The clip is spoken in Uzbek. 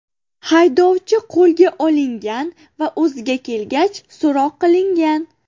Haydovchi qo‘lga olingan va o‘ziga kelgach so‘roq qilingan.